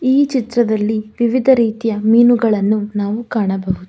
ಈ ಚಿತ್ರದಲ್ಲಿ ವಿವಿಧ ರೀತಿಯ ಮೀನುಗಳನ್ನು ನಾವು ಕಾಣಬಹುದು.